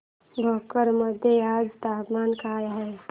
भोकर मध्ये आज तापमान काय आहे